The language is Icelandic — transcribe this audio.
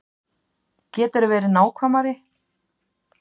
Geturðu verið nákvæmari?